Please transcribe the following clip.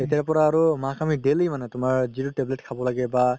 তেতিয়াৰ পৰা আৰু মাক আমি daily মানে তুমাৰ যিতো tablet খাব লাগে বা